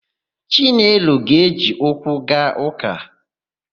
Chinelo ga-eje ụkwụ gaa ụ́kà.